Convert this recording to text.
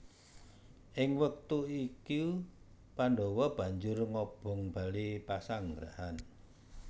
Ing wektu iku Pandhawa banjur ngobong bale pasanggrahan